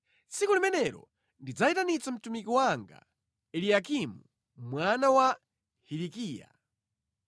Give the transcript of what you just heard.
“Tsiku limenelo ndidzayitanitsa mtumiki wanga, Eliyakimu mwana wa Hilikiya.